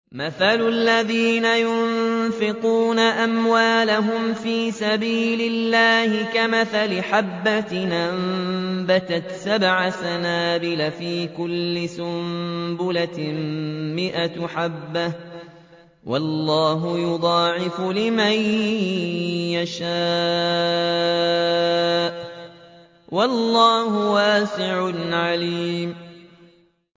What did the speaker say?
مَّثَلُ الَّذِينَ يُنفِقُونَ أَمْوَالَهُمْ فِي سَبِيلِ اللَّهِ كَمَثَلِ حَبَّةٍ أَنبَتَتْ سَبْعَ سَنَابِلَ فِي كُلِّ سُنبُلَةٍ مِّائَةُ حَبَّةٍ ۗ وَاللَّهُ يُضَاعِفُ لِمَن يَشَاءُ ۗ وَاللَّهُ وَاسِعٌ عَلِيمٌ